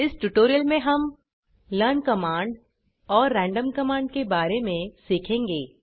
इस ट्यूटोरियल में हम लर्न कमांड और रैंडम कमांड के बारे में सीखेंगे